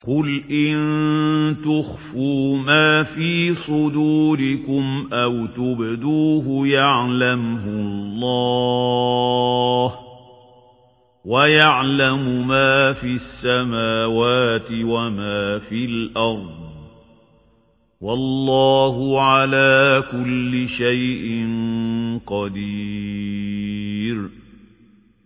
قُلْ إِن تُخْفُوا مَا فِي صُدُورِكُمْ أَوْ تُبْدُوهُ يَعْلَمْهُ اللَّهُ ۗ وَيَعْلَمُ مَا فِي السَّمَاوَاتِ وَمَا فِي الْأَرْضِ ۗ وَاللَّهُ عَلَىٰ كُلِّ شَيْءٍ قَدِيرٌ